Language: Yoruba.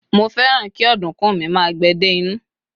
mo fẹràn ki ọdunkun mi ma gbe dé inú